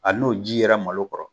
Hali n'o ji yera malo kɔrɔ